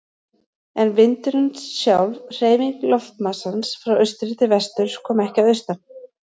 En vindurinn, sjálf hreyfing loftmassans frá austri til vesturs, kom ekki að austan.